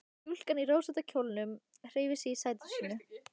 Stúlkan í rósótta kjólnum hreyfði sig í sæti sínu.